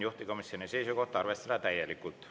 Juhtivkomisjoni seisukoht on arvestada seda täielikult.